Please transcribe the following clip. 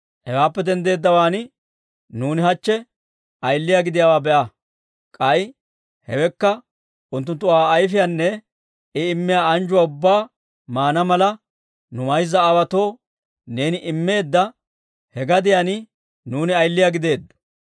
«Hewaappe denddeeddawaan, nuuni hachche ayiliyaa gidiyaawaa be'a. K'ay hewekka unttunttu Aa ayfiyaanne I immiyaa anjjuwaa ubbaa maana mala, nu mayza aawaatoo neeni immeedda he gadiyaan, nuuni ayiliyaa gideeddo.